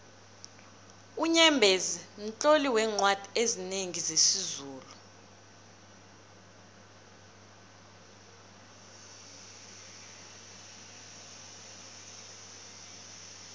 unyembezi mtloli weencwadi ezinengi zesizulu